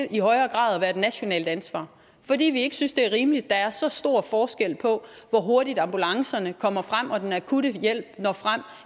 i højere grad at være et nationalt ansvar fordi vi ikke synes det er rimeligt at der er så stor forskel på hvor hurtigt ambulancerne og den akutte hjælp når frem